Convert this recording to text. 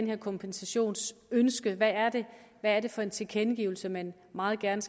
her kompensationsønske hvad er det for en tilkendegivelse man meget gerne